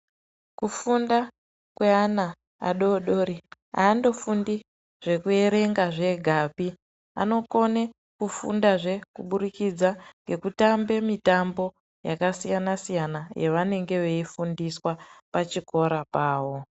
Kufunda kweana adori-dori, haandofundi zvekuerenga zvegapi. Anokone kufundazve kuburikidza ngekutambe mitambo yakasiyana-siyana yevanenge veifundiswa pachikora pavo.